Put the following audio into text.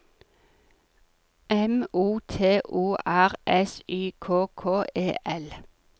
M O T O R S Y K K E L